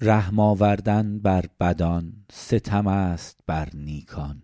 رحم آوردن بر بدان ستم است بر نیکان